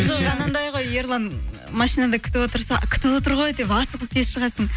жоқ анандай ғой ерлан машинада күтіп отырса күтіп отыр ғой деп асығып тез шығасың